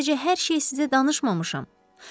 Mən sadəcə hər şeyi sizə danışmamışam.